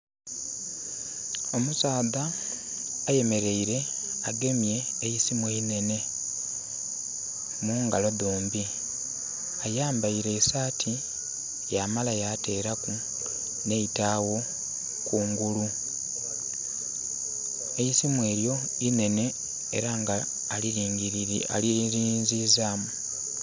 Omusaadha ayemeleire agemye eisimu einhenhe, mungalo dhombi. Ayambaile esaati, yamala yateelaku nh'eitaawo kungulu. Eisimu elyo inhenhe era nga alyelinzizaamu.